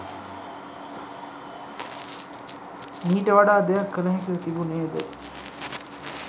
මීට වඩා දෙයක් කළ හැකිව තිබුණේද?